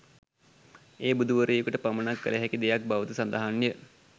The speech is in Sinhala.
එය බුදු වරයකුට පමණක් කළ හැකි දෙයක් බව ද සඳහන්ය